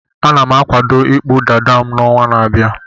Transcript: Ana m akwado ịkpụ dada m n'ọnwa na-abịa.